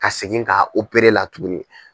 Ka segin ka la tuguni.